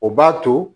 O b'a to